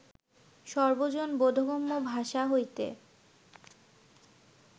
সর্বজন-বোধগম্য ভাষা হইতে